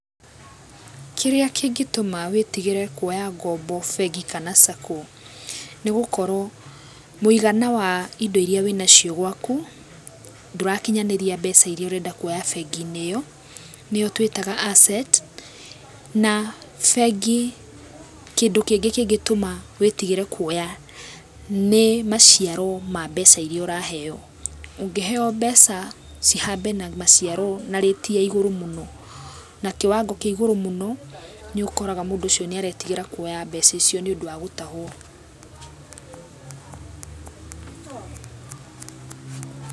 Kĩrĩa kĩ ngĩtũma wĩtigĩre kuoya ngombo bengi kana SACCO, nĩ gũkorwo mũigana wa indo iria wĩ nacio gwaku ndũrakinyanĩria mbeca iria ũrenda kuoya bengi-inĩ ĩyo. Nĩyo twĩtaga asset. Na bengi kĩndũ kĩngĩ kĩngĩtũma wĩtigĩre kuoya nĩ maciaro ma mbeca iria ũraheo. Ũngĩ heo mbeca cihambe na maciaro na rate ya igũrũ mũno. Na kĩwango kĩ igũrũ mũno, nĩ ũkoraga mũndũ ũcio nĩ aretigĩra kuoya mbeca icio nĩ ũndũ wa gũtahũo.